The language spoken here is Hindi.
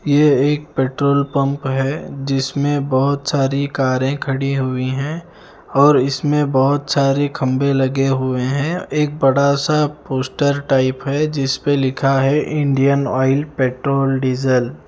यह एक पेट्रोल पंप है जिसमें बहुत सारी कारें खड़ी हुई हैं और इसमें बहुत सारे खंबे लगे हुए हैं एक बड़ा सा पोस्टर टाइप है जिस पे लिखा है इंडियन ऑयल पेट्रोल डीजल ।